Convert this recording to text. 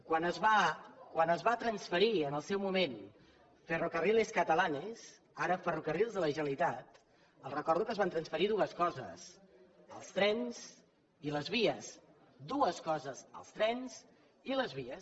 quan es va transferir en el seu moment ferrocarriles catalanes ara ferrocarrils de la generalitat els recordo que es van transferir dues coses els trens i les vies dues coses els trens i les vies